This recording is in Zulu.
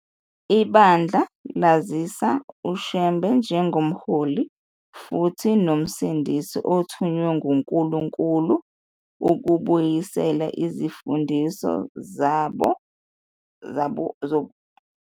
Ibandla lazisa UShembe njengomholi futhi noMsindisi othunyelwe uNkulunkulu ukubuyisela izimfundiso zobu Afrika, ezabaprofethi, ukukhumbula indlu eMnyama kanye nokudumisa uNkulunkulu ngakugcina imithetho ayiloba ngenceku yakhe uMose.